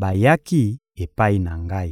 bayaki epai na ngai.